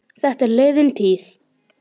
Þetta er liðin tíð.